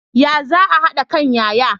Ya za a hada kan yaya?